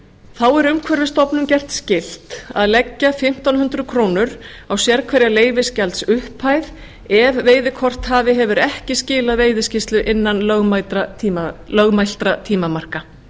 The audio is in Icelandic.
þá er umhverfisstofnun gert skylt að leggja fimmtán hundruð krónur á sérhverja leyfisgjaldsupphæð ef veiðikorthafi hefur ekki skilað veiðiskýrslu innan lögmæltra tímamarka